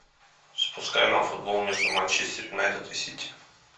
запускай нам футбол между манчестер юнайтед и сити